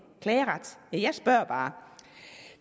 klageret ja jeg spørger bare